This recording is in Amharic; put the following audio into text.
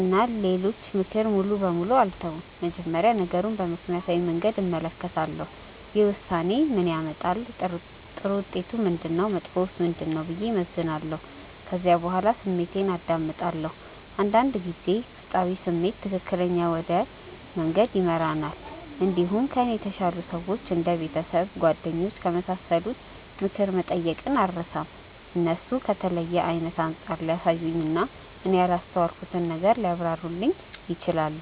እና የሌሎችን ምክር ሙሉ በሙሉ አልተውም። መጀመሪያ ነገሩን በምክንያታዊ መንገድ እመለከታለሁ። ይህ ውሳኔ ምን ያመጣል? ጥሩ ውጤቱ ምንድነው? መጥፎውስ ምንድነው? ብዬ እመዝናለሁ። ከዚያ በኋላ ስሜቴን አዳምጣለሁ። አንዳንድ ጊዜ ውስጣዊ ስሜት ትክክለኛ ወደ መንገድ ይመራል። እንዲሁም ከእኔ የተሻሉ ሰዎች እንደ ቤተሰብ፣ ጓደኞች ከመሳሰሉት ምክር መጠየቅን አልርሳም። እነሱ ከተለየ አይነት አንጻር ሊያሳዩኝ እና እኔ ያላስተዋልኩትን ነገር ሊያብራሩልኝ ይችላሉ።